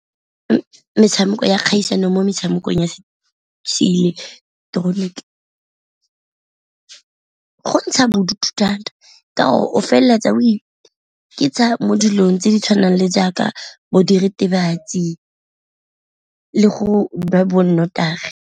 Metshameko ya kgaisano mo metshamekong ya se ileketoroniki, go ntsha bodutu thata ka gore o feleletsa o ikitsha mo dilong tse di tshwanang le jaaka bo diritibatsi le go nwa bo nnotagi.